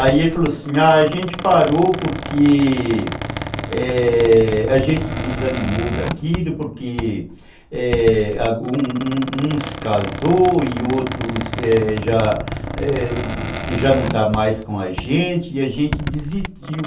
Aí ele falou assim, a gente parou porque, é, a gente desanimou daquilo, porque, é, uns casou e outros já, é, não estão mais com a gente e a gente desistiu.